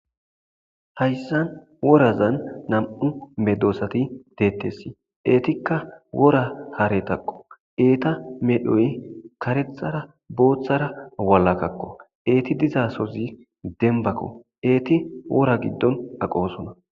Hayssan worazan nam'u medoosati de'eteesi eetika wora haretako eeta medhoy karethara boothara walakako eeti diizasozi dembako eeti wora giddon aqoosona.